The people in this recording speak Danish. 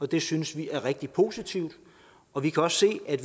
det synes vi er rigtig positivt og vi kan også se at